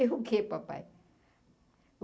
Eu o que, papai?